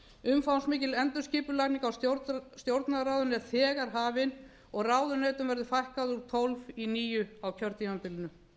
umfangsmikil endurskipulagning á stjórnarráðinu er þegar hafin og ráðuneytum verður fækkað úr tólf í níu á kjörtímabilinu